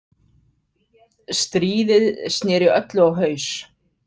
Stríðið sneri öllu á haus.